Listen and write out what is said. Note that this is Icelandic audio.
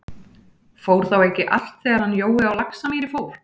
Fór þá ekki alt þegar hann Jói á Laxamýri fór?